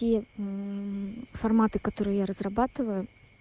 те форматы которые я разрабатываю